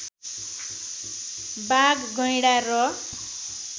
बाघ गैँडा र